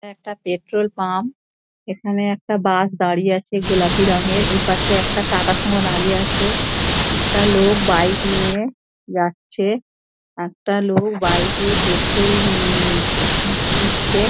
এটা একটা petrol pump |এখানে একটা বাস দাঁড়িয়ে আছে | গোলাপি রঙের ওই পাশে একটা টাটা সুমো দাঁড়িয়ে আছে |একটা লোক বাইক নিয়ে যাচ্ছে একটা লোক বাইক নিয়ে পেট্রোল দিচ্ছে |